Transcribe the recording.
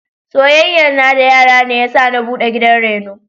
Soyayyan na da yara ne yasa na buɗe gidan reno.